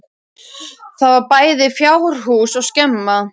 Þar var bæði fjárhús og skemma.